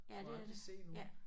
Du må aldrig se nogen